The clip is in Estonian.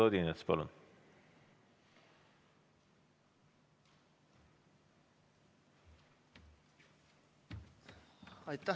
Eduard Odinets, palun!